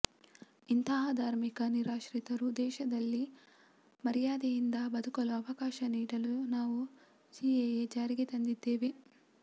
ಇಂತಹ ಧಾರ್ಮಿಕ ನಿರಾಶ್ರಿತರು ದೇಶದಲ್ಲಿ ಮರ್ಯಾದೆಯಿಂದ ಬದುಕಲು ಅವಕಾಶ ನೀಡಲು ನಾವು ಸಿಎಎ ಜಾರಿಗೆ ತಂದಿದ್ದೇವೆ